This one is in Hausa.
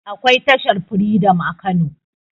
akwai tashar freedom a kano